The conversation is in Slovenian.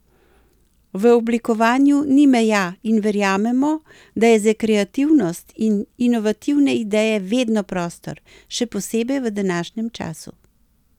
V oblikovanju ni meja in verjamemo, da je za kreativnost in inovativne ideje vedno prostor, še posebej v današnjem času.